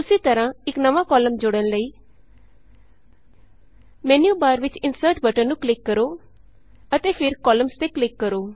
ਉਸੀ ਤਰਹਾਂ ਇਕ ਨਵਾਂ ਕਾਲਮ ਜੋੜਨ ਲਈ ਮੈਨਯੂਬਾਰ ਵਿਚ ਇੰਸਰ੍ਟ ਬਟਨ ਨੂੰ ਕਲਿਕ ਕਰੋ ਅਤੇ ਫਿਰ ਕੌਲਸਜ਼ ਕੋਲਮਨਜ਼ ਤੇ ਕਲਿਕ ਕਰੋ